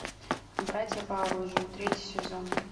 братья по оружию третий сезон